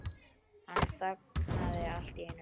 Hann þagnaði allt í einu.